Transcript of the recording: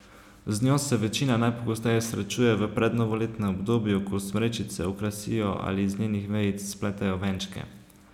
Z njo se večina najpogosteje srečuje v prednovoletnem obdobju, ko smrečice okrasijo ali iz njenih vejic spletejo venčke.